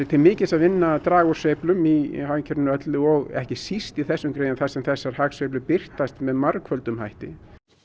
til mikils að vinna að draga úr sveiflum í hagkerfinu öllu og ekki síst í þessum greinum þar sem þessar hagsveiflur birtast með margföldum hætti